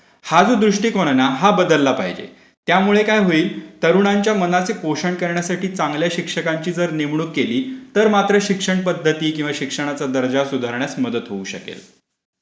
हा जो दृष्टिकोन आहे ना तो बदलला पाहिजे. त्यामुळे काय होईल? तरुणांच्या मनाचे पोषण करण्यासाठी चांगल्या शिक्षकांची जर नेमणूक केली तर मात्र शिक्षण पध्दती आणि शिक्षणाचा दर्जा सुधारण्यास मदत होऊ शकेल.